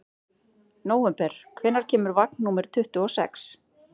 Nóvember, hvenær kemur vagn númer tuttugu og sex?